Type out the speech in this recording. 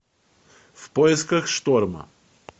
в поисках шторма